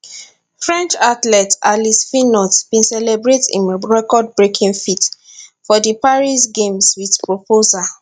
french athlete alice finot bin celebrate im recordbreaking feat for di paris games wit proposal